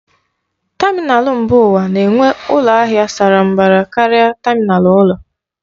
Tamịnal mba ụwa na-enwe ụlọ ahịa sara mbara karịa tamịnal ụlọ.